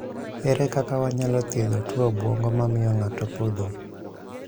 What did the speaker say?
. Ere kaka wanyalo thiedho tuo obwongo mamiyo ng'ato podho?